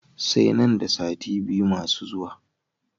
Sai nan da sati biyu masu zuwa.